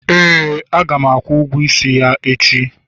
ee, a ga m akwụ ụgwọ nwa ya echi